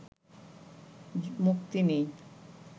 মুক্তি নেই